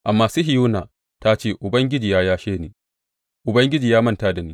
Amma Sihiyona ta ce, Ubangiji ya yashe ni, Ubangiji ya manta da ni.